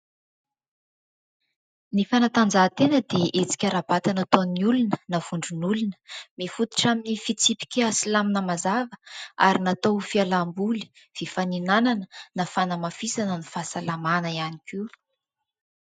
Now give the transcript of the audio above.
Ny fanatanjahatena dia hetsika ara-batana nataon'ny olona, na vondron'olona. Mifotitra amin'ny fitsipika sy lamina mazava ary natao ho fialam-boly, fifaninana, na fanamafisana ny fahasalamana ihany koa.